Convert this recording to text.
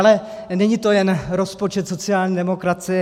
Ale není to jen rozpočet sociální demokracie.